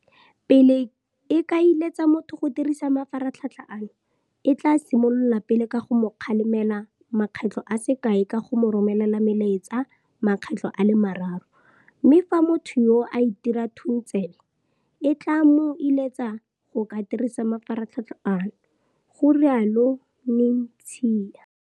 Pele e ka iletsa motho go dirisa mafaratlhatl ha ano, e tla simolola pele ka go mo kgalemela makgetlo a se kae ka go mo romela melaetsa makgetlo a le mararo, mme fa motho yoo a itira thuntsebe, e tla mo iletsa go ka dirisa mafaratlhatlha ano, ga rialo Netshiya.